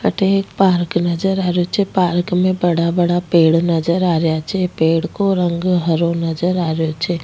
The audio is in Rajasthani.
अठे एक पार्क नजर आ रेहो छे पार्क में बड़ा बड़ा पेड़ नजर आ रेहा छे पेड़ को रंग हरो नज़र आ रेहो छे।